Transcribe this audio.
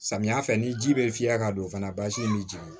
Samiya fɛ ni ji bɛ fiyɛ ka don fana basi b'i jeni